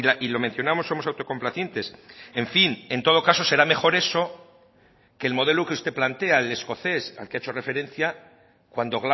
y lo mencionamos somos autocomplacientes en fin en todo caso será mejor eso que el modelo que usted plantea el escocés al que ha hecho referencia cuando